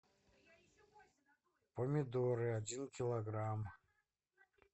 помидоры один килограмм